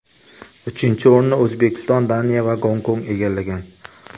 Uchinchi o‘rinni O‘zbekiston, Daniya va Gonkong egallagan.